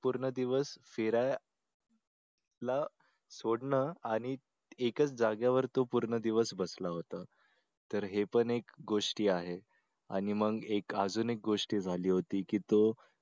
पूर्ण दिवस फिराय ला सोडलं आणि एकच जाग्यावर तो पूर्ण दिवस बसला होता.